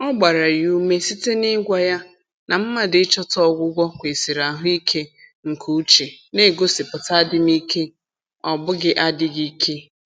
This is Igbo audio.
Ọ gbara ya ume site na-ịgwa ya na mmadụ ịchọta ọgwụgwọ kwesịrị ahụike nke uche na-egosipụta adịm ike ọ bụghị adịghị ike